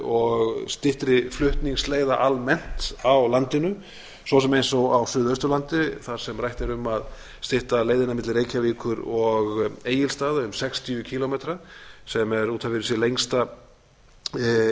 og styttri flutningsleiðir almennt á landinu svo sem eins og á suðausturlandi þar sem rætt er um að stytta leiðin milli reykjavíkur og egilsstaða um sextíu kílómetra sem er út af fyrir sig